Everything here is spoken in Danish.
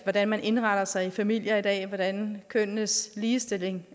hvordan man indretter sig i familier i dag og hvordan kønnenes ligestilling